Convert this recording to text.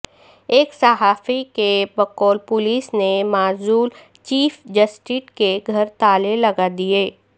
ایک صحافی کے بقول پولیس نے معزول چیف جسٹس کے گھر تالے لگا دیے